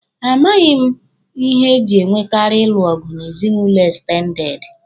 A maghị m ihe e jị e nwekaari ịlụ ọgụ n'ezinụlọ ekstendede